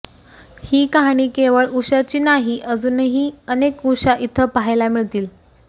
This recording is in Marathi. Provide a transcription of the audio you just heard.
ही कहाणी केवळ उषाची नाही अजुनही अनेक उषा इथं पाहायला मिळतील